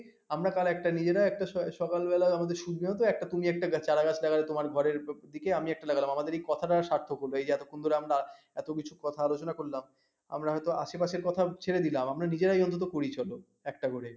আমরা তার একটা নিজেরা একটা স সকালবেলা আমাদের সিদ্ধান্ত একটা তুমি একটা গাছ চারাগাছ লাগাবে তোমার ঘরের ওদিকে আমি একটা লাগালাম। আমাদের এই কথাটা স্বার্থক হলো। এই যে এতক্ষণ ধরে আমরা এত কিছু কথা আলোচনা করলাম আমরা হয়তো আশেপাশের কথা ছেড়ে দিলাম আমরা নিজেরাই অন্তত করি চলো ।একটা করে